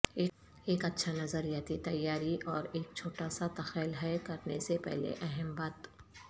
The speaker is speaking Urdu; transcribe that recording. ایک اچھا نظریاتی تیاری اور ایک چھوٹا سا تخیل ہے کرنے سے پہلے اہم بات